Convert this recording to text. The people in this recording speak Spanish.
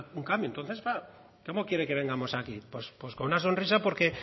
un cambio entonces claro cómo quiere que vengamos aquí pues con una sonrisa porque